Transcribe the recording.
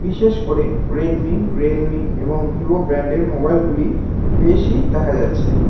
বিশেষ করে Redmi Realme এবং ভিভো ব্র্যান্ডের মোবাইলগুলি বেশি দেখা যাচ্ছে।